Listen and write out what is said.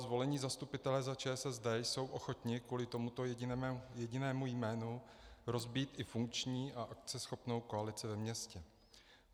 Zvolení zastupitelé za ČSSD jsou ochotni kvůli tomuto jedinému jménu rozbít i funkční a akceschopnou koalici ve městě.